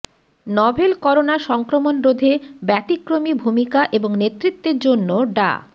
novel corona সংক্রমণরোধে ব্যতিক্রমী ভূমিকা এবং নেতৃত্বের জন্য ডা